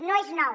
no és nou